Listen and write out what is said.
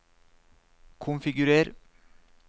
konfigurer